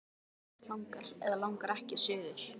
Hann ýmist langar eða langar ekki suður.